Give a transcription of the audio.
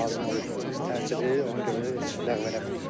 Lazım olur təcili, ona görə heç ləğv eləmirik.